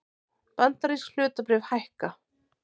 Bandarísk hlutabréf hækka